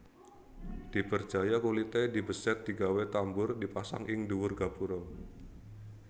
Diperjaya kulité dibesèt digawé tambur dipasang ing dhuwur gapura